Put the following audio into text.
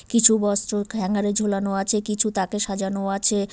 কিছু বস্ত্র হ্যাঙ্গার -এ ঝোলানো আছে কিছু তাকে সাজানো আছে।